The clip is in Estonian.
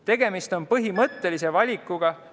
Tegemist on põhimõttelise valikuga ...